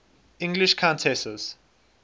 english countesses